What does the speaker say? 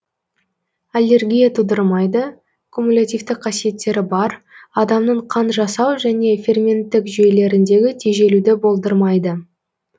аллергия тудырмайды кумулятивтік қасиеттері бар адамның қан жасау және ферменттік жүйелеріндегі тежелуді болдырмайды